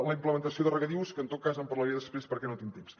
la implementació de regadius que en tot cas en parlaré després perquè no tinc temps